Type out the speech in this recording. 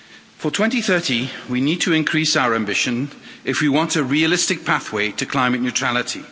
For 2030 we need to increase our ambition if we want a realistic pathway to climate neutrality.